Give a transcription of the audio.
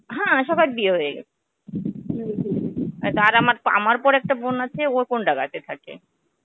হ্যাঁ, সবার বিয়ে হয়ে গেছে তার আমার আমার পর একটা বোন আছে ও কন্দাঙ্গাতে থাকে.